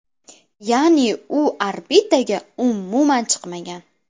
Ya’ni u orbitaga umuman chiqmagan.